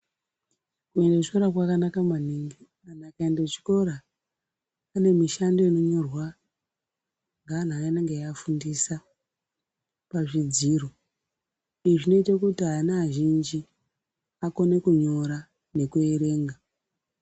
Kuende kuchikora kwakanaka maningi. Antu akaende kuchikora pane mishando inonyorwa ngeanhu aya anenge eiafundisa pazvidziro. Izvi zvinoite kuti ana azhinji akone kunyora nekuerenga.